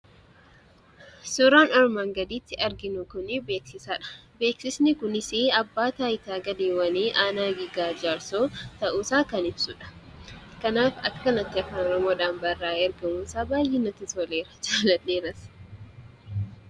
Suuraan armaan gaditti arginu kunii beeksisadha. Beeksisni kunisii abbaa taayitaa galiiwwanii aanaa Giraar Jaarsoo ta'uusaa kan ibsudha. kanaaf, akka kanatti afaan Oromoodhaan barraa'ee argamuunsaa baayyee natti toleera. Jaaladheeras.